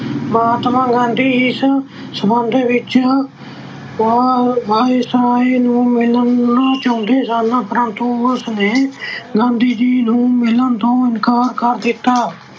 ਮਹਾਤਮਾ ਗਾਂਧੀ ਇਸ ਸੰਬੰਧ ਵਿੱਚ ਵਾ ਅਹ Viceroy ਨੂੰ ਮਿਲਣਾ ਚਾਹੁੰਦੇ ਸਨ, ਪਰੰਤੂ ਉਸਨੇ ਗਾਂਧੀ ਜੀ ਨੂੰ ਮਿਲਣ ਤੋਂ ਇਨਕਾਰ ਕਰ ਦਿੱਤਾ।